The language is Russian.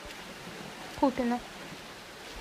купино